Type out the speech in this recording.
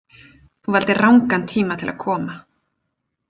Þú valdir rangan tíma til að koma.